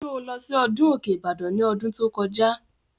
Sọ lọ sí ọdún Òkè Ìbàdàn ní ọdún tó kọjá?